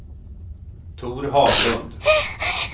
Tor Haglund